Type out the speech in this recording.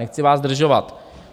Nechci vás zdržovat.